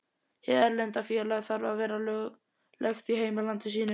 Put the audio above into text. Hið erlenda félag þarf að vera löglegt í heimalandi sínu.